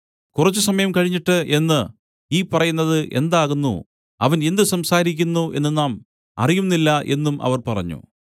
കുറച്ചുസമയം കഴിഞ്ഞിട്ട് എന്നു ഈ പറയുന്നത് എന്താകുന്നു അവൻ എന്ത് സംസാരിക്കുന്നു എന്നു നാം അറിയുന്നില്ല എന്നും അവർ പറഞ്ഞു